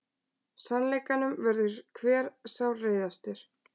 Sannleikanum verður hver sárreiðastur.